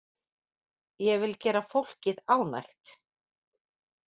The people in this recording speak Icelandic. Ég vil gera fólkið ánægt.